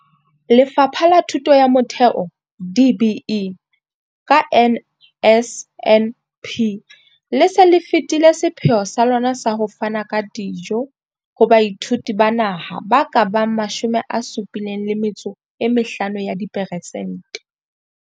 Lefapha la Thuto ya Motheo DBE, ka NSNP, le se le fetile sepheo sa lona sa ho fana ka dijo ho baithuti ba naha ba ka bang 75 ya diperesente.